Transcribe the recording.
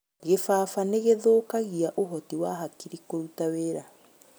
Gĩbaba nĩgĩthũkagia ũhoti wa hakiri kũruta wĩra